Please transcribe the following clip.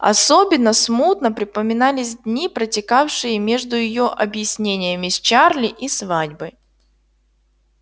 особенно смутно припоминались дни протекавшие между её объяснениями с чарли и свадьбой